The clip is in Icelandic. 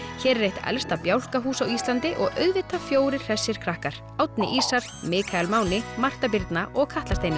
hér er eitt elsta bjálkahús á Íslandi og auðvitað fjórir hressir krakkar Árni ísar Mikael Máni Marta Birna og Katla Steinunn